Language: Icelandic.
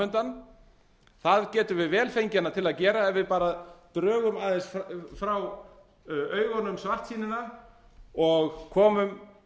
undan það getum við vel fengið hana til að gera ef við bara drögum aðeins frá augunum svartsýnina og komum